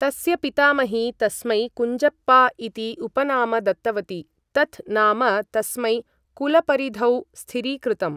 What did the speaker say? तस्य पितामही तस्मै कुञ्जप्पा इति उपनाम दत्तवती, तत् नाम तस्मै कुलपरिधौ स्थिरीकृतम्।